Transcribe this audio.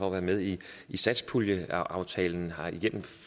at være med i satspuljeaftalen igennem